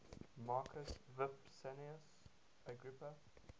marcus vipsanius agrippa